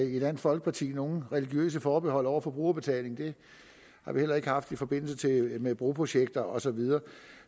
i dansk folkeparti nogen religiøse forbehold over for brugerbetaling det har vi heller ikke haft i forbindelse med broprojekter og så videre